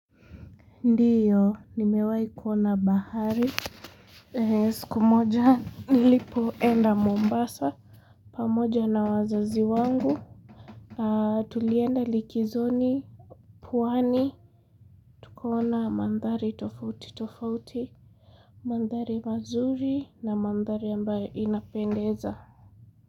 Ndiyo, nimewai kuona bahari. Siku moja, nilipo enda Mombasa. Pamoja na wazazi wangu. Tulienda likizoni, pwani, tukaona mandhari tofauti tofauti. Mandhari mazuri na mandhari ambayo inapendeza.